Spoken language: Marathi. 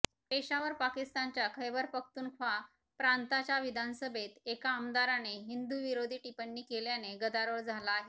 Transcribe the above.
पेशावर पाकिस्तानच्या खैबर पख्तूनख्वा प्रांताच्या विधानसभेत एका आमदाराने हिंदूविरोधी टिप्पणी केल्याने गदारोळ झाला आहे